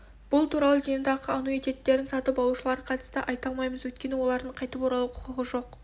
бұл туралы зейнетақы аннуитеттерін сатып алушыларға қатысты айта алмаймыз өйткені олардың қайтып оралуға құқығы жоқ